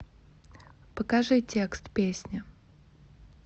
покажи текст песни